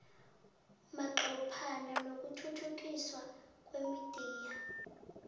manqophana nokuthuthukiswa kwemidiya